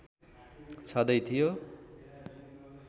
छदै थियो